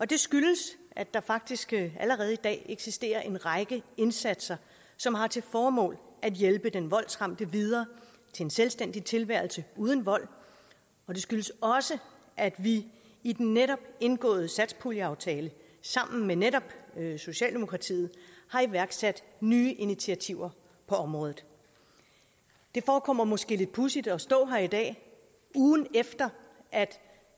det skyldes at der faktisk allerede i dag eksisterer en række indsatser som har til formål at hjælpe den voldsramte videre til en selvstændig tilværelse uden vold og det skyldes også at vi i den netop indgåede satspuljeaftale sammen med netop socialdemokratiet har iværksat nye initiativer på området det forekommer måske lidt pudsigt at stå her i dag ugen efter at